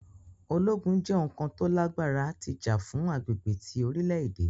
Ologun jẹ oun kan to lagbara ti ja fun agbegbe ti orilẹ-ede.